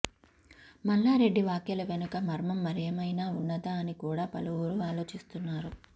మల్లారెడ్డి వ్యాఖ్యల వెనుక మర్మం మరేమయిన ఉన్నదా అని కూడా పలువురు ఆలోచిస్తున్నారు